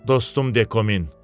Dostum Dekomin.